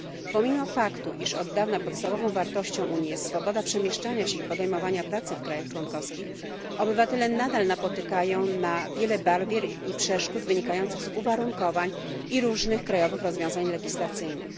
Pomimo faktu, iż od dawna podstawową wartością Unii jest swoboda przemieszczania się i podejmowania pracy w państwach członkowskich, obywatele nadal napotykają na wiele barier i przeszkód wynikających z uwarunkowań i różnych krajowych rozwiązań legislacyjnych.